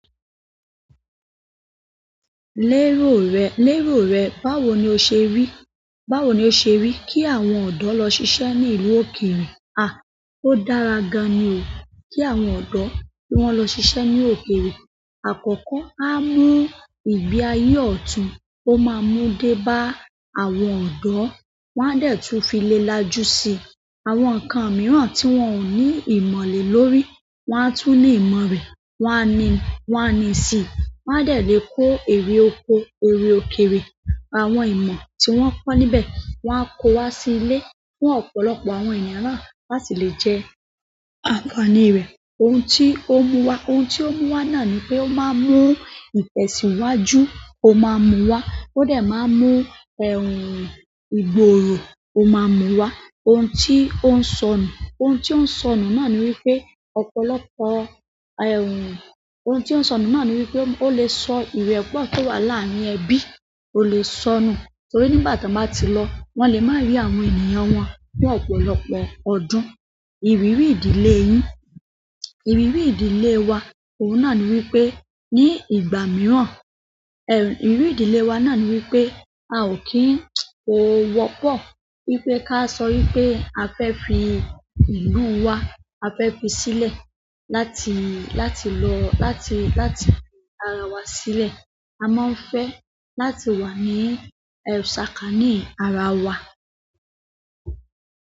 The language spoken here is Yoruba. Lérò rẹ, lérò rẹ, báwo ni o ṣe rí, báwo ni o ṣe rí kí àwọn ọ̀dọ́ lọ ṣiṣẹ́ ní ìlú òkèèrè? À, ó dára gan-an ni o kí àwọn ọ̀dọ́ kí wọ́n lọ ṣiṣẹ́ ní òkèèrè. Àkọ́kọ́, á mú ìgbé ayé ọ̀tún, ó máa mú dé bá àwọn ọ̀dọ́. Wọn a dẹ̀ tún fi lé lájú sí àwọn nǹkan mìíràn tí wọ́n ò ní ìmọ̀ lé lórí. Wọn a tún ní ìmọ̀ rẹ̀, wọn a ni, wọn a ni ìsì. Wọn a dẹ̀ lè kó eré oko, eré òkèèrè, àwọn ìmọ̀ tí wọ́n kọ́ níbẹ̀, wọ́n á kó wá sí ilé fún ọ̀pọ̀lọpọ̀ àwọn ènìyàn na láti lè jẹ àǹfààní rẹ̀. Ohun tí ó mú wa, ohun tí ó mú wa náà ni pé ó máa mú ìtẹ̀síwájú, ó máa mú wá. Ó dẹ̀ máa mú ẹ̀rùn ìgboro, ó máa mú wá. Ohun tí ó ń sọnù, ohun tí ó ń sọnù náà ni wípé ọ̀pọ̀lọpọ̀ ẹ̀rùn, ohun tí ó ń sọnù náà ni wípé ó lè sọ ìrẹ́pọ̀ tó wà láàárín ẹbí, ó lè sọnù. Nítorí nígbà tí wọ́n bá ti lọ, wón lè má rí àwọn ènìyàn wọn fún ọ̀pọ̀lọpọ̀ ọdún. Ìrírí ìdílé yín, ìrírí ìdílé wa, òun náà ni wípé ní ìgbà mìíràn, ẹ̀, ìrírí ìdílé wa náà ni wípé a ò kí ń, kò wọ́pọ̀ wípé ká sọ wípé a fẹ́ fi ìlú wa, a fẹ́ fi sílẹ̀ láti, láti lọ, láti, láti fi ara wa sílẹ̀. A máa ń fẹ́ láti wà ní, ẹ́, ṣáákaní ara wa.